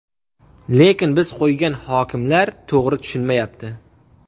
Lekin biz qo‘ygan hokimlar to‘g‘ri tushunmayapti.